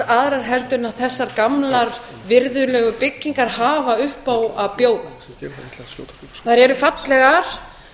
aðrar heldur en þessar gömlu virðulegu byggingar hafa upp á að bjóða þær eru fallegar